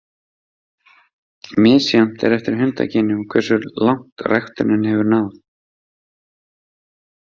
Misjafnt er eftir hundakynjum hversu langt ræktunin hefur náð.